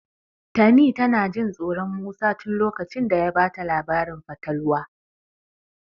Tani tana Jin tsoron Musa tin lokacin da ya bata labarin fatalwa.